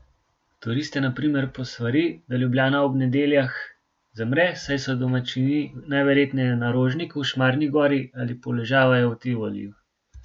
Turiste na primer posvari, da Ljubljana ob nedeljah zamre, saj so domačini najverjetneje na Rožniku, Šmarni gori ali poležavajo v Tivoliju.